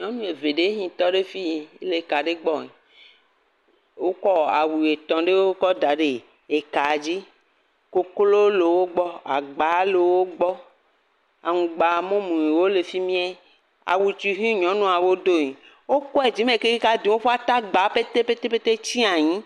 Nyɔnu eve ɖewo ke he tɔ ɖe fii, le ka ɖe gbɔe, wokɔ awu etɔ̃ ɖewo kɔ da ɖe ekaa dzi, koklo le wo gbɔ, agba le wo gbɔ, aŋgba mumuwo le fi mie, awu he nyɔnuwo doe, wokɔe yi dzi me kekeke woƒe atagbawo petepete tsi anyi.